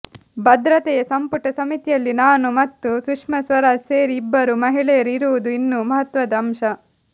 ಭದ್ರತೆಯ ಸಂಪುಟ ಸಮಿತಿಯಲ್ಲಿ ನಾನು ಮತ್ತು ಸುಷ್ಮಾ ಸ್ವರಾಜ್ ಸೇರಿ ಇಬ್ಬರು ಮಹಿಳೆಯರು ಇರುವುದು ಇನ್ನೂ ಮಹತ್ವದ ಅಂಶ